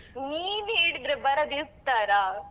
ನೀನ್ ಹೇಳಿದ್ರೆ ಬರದೇ ಇರ್ತಾರ?